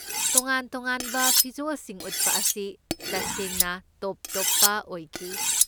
ꯇꯣꯉꯥꯟ ꯇꯣꯉꯥꯟꯕ ꯐꯤꯖꯣꯜꯁꯤꯡ ꯎꯠꯄ ꯑꯁꯤ ꯇꯁꯦꯡ ꯇꯣꯞ ꯇꯣꯞꯄ ꯑꯣꯏꯈꯤ꯫